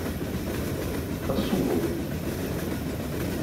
касулу